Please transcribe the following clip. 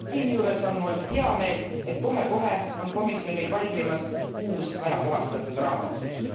Siinjuures on mul heameel, et kohe kohe on komisjonil valmimas uus ajakohastatud raamotsus.